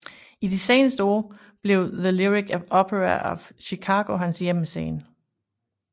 I de senere år blev The Lyric Opera of Chicago hans hjemmescene